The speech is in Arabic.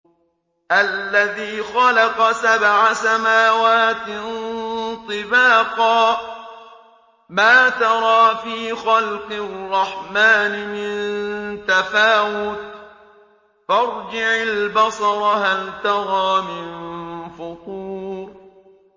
الَّذِي خَلَقَ سَبْعَ سَمَاوَاتٍ طِبَاقًا ۖ مَّا تَرَىٰ فِي خَلْقِ الرَّحْمَٰنِ مِن تَفَاوُتٍ ۖ فَارْجِعِ الْبَصَرَ هَلْ تَرَىٰ مِن فُطُورٍ